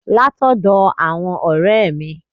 Látọ́dọ̀ àwọn n òré è mi